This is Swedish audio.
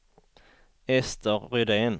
Ester Rydén